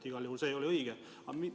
Igal juhul see pakkumine ei olnud õige.